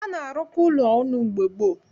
A na-arụkọ ụlọ ọnụ mgbe gboo